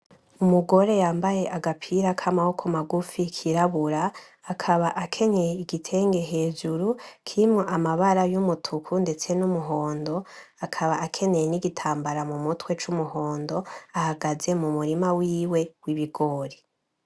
Umugore yambaye agapira k'amaboko magufi kirabura akaba akenyeye igitenge hejuru kirimo amabara y'umutuku ndetse n'umuhondo akaba akeneye n'igitambara mu mutwe c'umuhondo ahagaze mu murima wiwe w'ibigori.